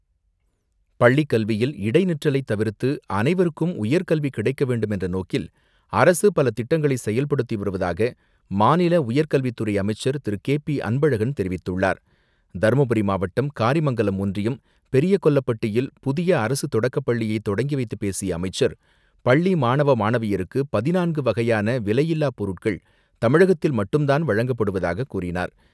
பள்ளிக் கல்வியில் இடைநிற்றலை தவிர்த்து அனைவருக்கும் உயர்கல்வி கிடைக்க வேண்டும் என்ற நோக்கில் அரசு பல திட்டங்களை செயல்படுத்தி வருவதாக மாநில உயர்கல்வித்துறை அமைச்சர் திரு கே பி அன்பழகன் தெரிவித்துள்ளார். தருமபுரி மாவட்டம் காரிமங்கலம் ஒன்றியும் பெரிய கொல்லப்பட்டியில் புதிய அரசு தொடக்கப் பள்ளியை தொடங்கி வைத்துப் பேசிய அமைச்சர் பள்ளி மாணவ மாணவியருக்கு பதினான்கு வகையான விலையில்லா பொருட்கள் தமிழகத்தில் மட்டும்தான் வழங்கப்படுவதாக கூறினார்.